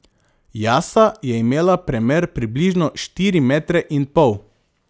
Jasa je imela premer približno štiri metre in pol.